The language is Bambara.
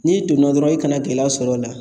N'i donna dɔrɔn i kana gɛlɛya sɔr'o la